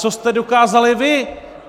Co jste dokázali vy?